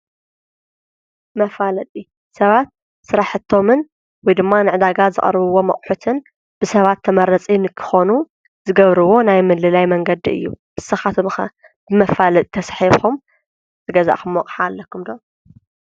መፋለጢ ሰባት ስራሕቶምን ወይ ድማ ንዕዳጋ ዝቕርብዎ ኣቝሑትን ብሰባት ተመረፂ ንክኾኑ ዝገብርዎ ናይ ምልላይ መንገዲ እዩ። ንሳኻትም ኸ ብመፋለጥ ተሳሒብኾም ዝገዛእኹምዎ ኣቅሓ ኣለኩም ዶ?